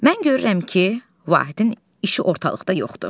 Mən görürəm ki, Vahidin işi ortalıqda yoxdur.